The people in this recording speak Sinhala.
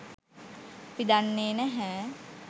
අපි දන්නේ නැහැ.